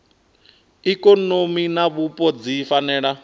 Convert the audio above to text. ikonomi na vhupo dzi fanela